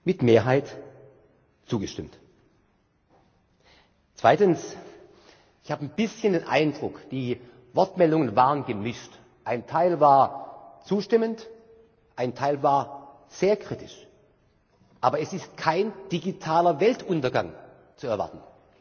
mit Mehrheit zugestimmt. Zweitens Ich habe ein bisschen den Eindruck, die Wortmeldungen waren gemischt ein Teil war zustimmend, ein Teil war sehr kritisch. Aber es ist kein digitaler Weltuntergang zu erwarten.